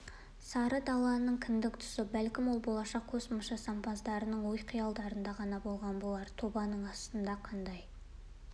сары даланың кіндік тұсы бәлкім ол болашақ космос жасампаздарының ой-қиялында ғана болған болар табанының астында қандай